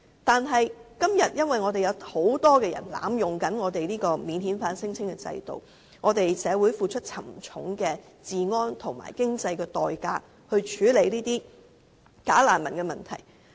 但是，現在因為有很多人濫用免遣返聲請制度，社會要付出沉重的治安及經濟代價，以處理假難民問題。